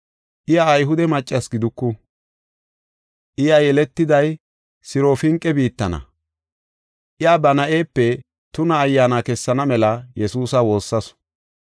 Iya Ayhude maccasi giduku; iya yeletiday Sirofinqe biittana. Iya, ba na7epe tuna ayyaana kessana mela Yesuusa woossasu.